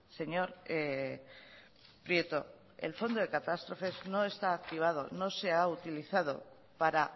señor prieto el fondo de catástrofes no está activado no se ha utilizado para